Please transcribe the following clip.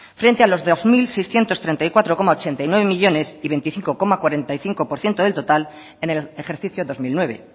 frente a los dos mil seiscientos treinta y cuatro coma ochenta y nueve millónes y veinticinco coma cuarenta y cinco por ciento del total en el ejercicio dos mil nueve